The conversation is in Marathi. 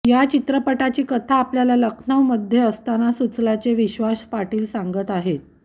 या चित्रपटाची कथा आपल्याला लखनऊमध्ये असताना सुचल्याचे विश्वास पाटील सांगतात